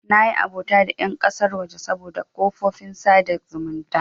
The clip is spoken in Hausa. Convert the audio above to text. Nayi abota da ƴan ƙasan waje saboda kafofin sada zumunta.